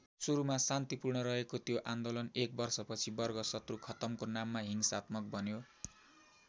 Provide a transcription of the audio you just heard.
सुरुमा शान्तिपूर्ण रहेको त्यो आन्दोलन एक वर्षपछि वर्ग शत्रु खत्तम को नाममा हिंसात्मक बन्यो।